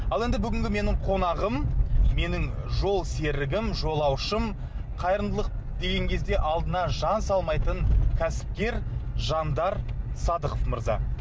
ал енді бүгінгі менің қонағым менің жолсергім жолаушым қайырымдылық деген кезде алдына жан салмайтын кәсіпкер жандар садықов мырза